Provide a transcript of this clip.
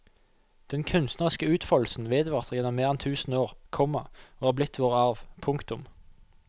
Den kunstneriske utfoldelsen vedvarte gjennom mer enn tusen år, komma og er blitt vår arv. punktum